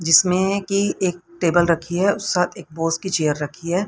इसमें की एक टेबल रखी है और साथ एक बॉस की चेयर रखी है।